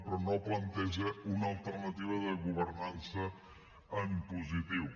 però no planteja una alternativa de governança en positiu